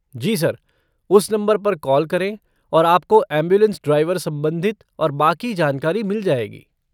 जी sir, उस number पर call करें और आप को ऐम्बुलेन्स ड्राइवर सम्बंधित और बाकी जानकारी मिल जाएगी।